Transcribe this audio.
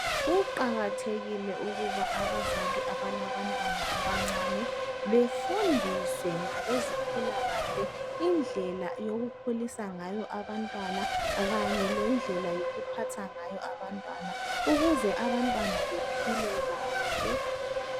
Kuqakathekile ukuba abazali abalabantwana abancane. Befundiswe ngabezempilakahle, indlela yokukhulisa ngayo abantwana kanye lendlela yokuphatha ngayo abantwana. Ukuze abantwana bephile kahle.